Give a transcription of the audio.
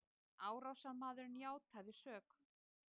Árásarmaðurinn játaði sök